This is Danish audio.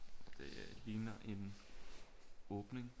Det ligner en åbning